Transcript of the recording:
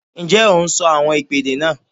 Ǹjẹ́ o n sọ àwọn ìpèdè náà?